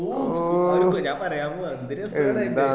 ഓ ആയി ഞാൻ പറയാൻ പോവാ എന്ത് രസാടാ അത്